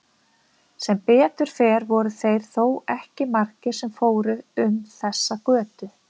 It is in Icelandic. Sem betur fer voru þeir þó ekki margir sem fóru um þessa götu.